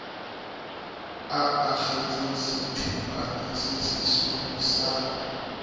a akgetse setipana sesesweu sa